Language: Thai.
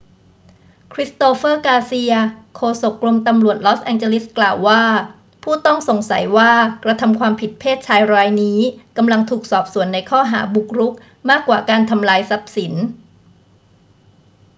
christopher garcia โฆษกกรมตำรวจลอสแองเจลิสกล่าวว่า ผู้ต้องสงสัยว่ากระทำความผิดเพศชายรายนี้กำลังถูกสอบสวนในข้อหาบุกรุกมากกว่าการทำลายทรัพย์สิน